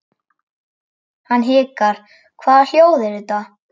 Hann hikar, hvaða hljóð eru þetta?